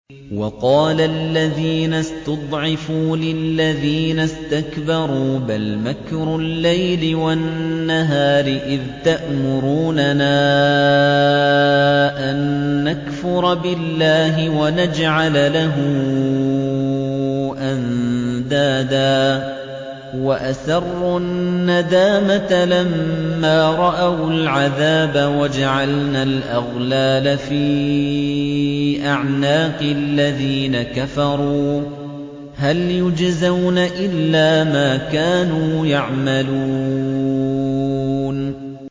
وَقَالَ الَّذِينَ اسْتُضْعِفُوا لِلَّذِينَ اسْتَكْبَرُوا بَلْ مَكْرُ اللَّيْلِ وَالنَّهَارِ إِذْ تَأْمُرُونَنَا أَن نَّكْفُرَ بِاللَّهِ وَنَجْعَلَ لَهُ أَندَادًا ۚ وَأَسَرُّوا النَّدَامَةَ لَمَّا رَأَوُا الْعَذَابَ وَجَعَلْنَا الْأَغْلَالَ فِي أَعْنَاقِ الَّذِينَ كَفَرُوا ۚ هَلْ يُجْزَوْنَ إِلَّا مَا كَانُوا يَعْمَلُونَ